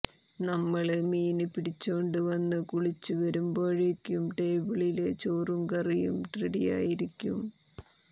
നമ്മള് മീന് പിടിച്ചോണ്ട് വന്ന് കുളിച്ച് വരുമ്പോഴേക്കും ടേബിളില് ചോറും കറിയും റെഡിയായിരിക്കും